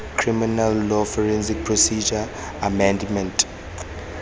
criminal law forensic procedure amendment